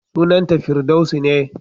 Sunanta Firdaus ne.